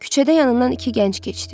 Küçədə yanından iki gənc keçdi.